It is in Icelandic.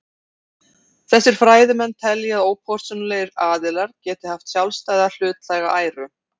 Þessir fræðimenn telja að ópersónulegir aðilar geti haft sjálfstæða hlutlæga æru.